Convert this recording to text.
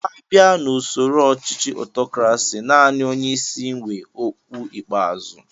A bia na ụsoro ọchichi ọtọkrasi, naani onyeisi wé ókwú ikpeazụ